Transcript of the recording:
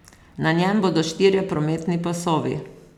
Na njem bodo štirje prometni pasovi.